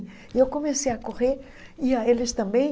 E eu comecei a correr e a eles também.